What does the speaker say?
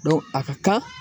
a ka kan